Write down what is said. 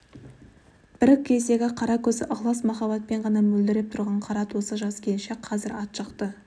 бір кездегі қара көзі ықлас махаббатпен ғана мөлдіреп тұрған қара торы жас келіншек қазір ат жақты